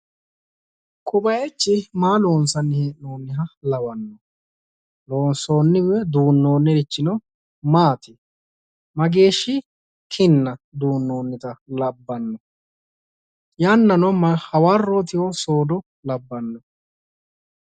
Ko bayichi maa loonsanni hee'noonniha lawanno? Loonsoonni woyi duunnoonnirichi maati? Mageeshshi kinna duunnoonnita labbannp? Yannano hawarrootiho soodoo labbanno?